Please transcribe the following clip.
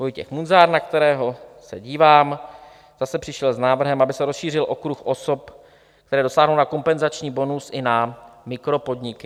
Vojtěch Munzar, na kterého se dívám, zase přišel s návrhem, aby se rozšířil okruh osob, které dosáhnou na kompenzační bonus, i na mikropodniky.